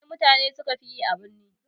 Wana irin yare mutane sukafi yi a birni?